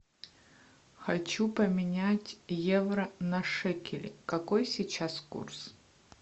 хочу поменять евро на шекели какой сейчас курс